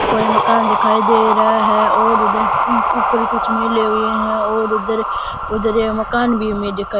कोई मकान दिखाई दे रहे है और उधर ऊपर कुछ मिले हुये है और उधर उधर ये मकान भी हमें दिखाई --